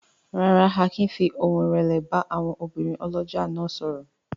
Rárá, Akin fi ohùn ìrẹ̀lẹ̀ bá àwọn obìnrin ọlọ́jà náà sọ̀rọ̀.